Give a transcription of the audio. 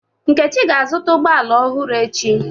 Nkechi ga-azụta ụgbọ ala ọhụrụ echi.